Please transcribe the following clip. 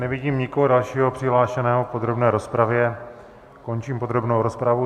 Nevidím nikoho dalšího přihlášeného k podrobné rozpravě, končím podrobnou rozpravu.